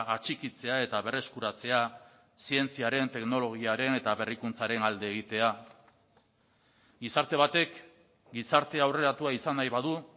atxikitzea eta berreskuratzea zientziaren teknologiaren eta berrikuntzaren alde egitea gizarte batek gizarte aurreratua izan nahi badu